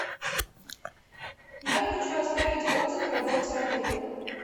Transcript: я хочу оставить отзыв о работе отеля